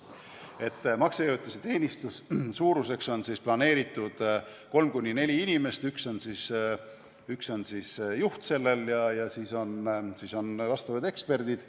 Niisiis, maksejõuetuse teenistuse suuruseks on planeeritud kolm kuni neli inimest, üks on juht ja siis on vastavad eksperdid.